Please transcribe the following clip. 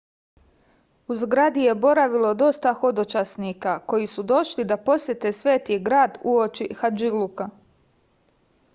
u zgradi je boravilo dosta hodočasnika koji su došli da posete sveti grad uoči hadžiluka